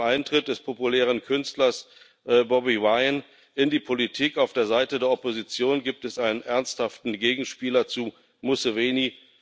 Und mit dem Eintritt des populären Künstlers Bobi Wine in die Politik auf der Seite der Opposition gibt es einen ernsthaften Gegenspieler zu Museveni.